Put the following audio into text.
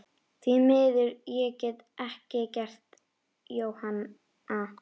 Því miður, ég get ekkert gert, Jóhanna.